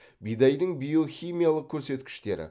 бидайдың биохимиялық көрсеткіштері